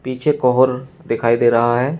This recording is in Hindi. पीछे कोहोर दिखाई दे रहा है।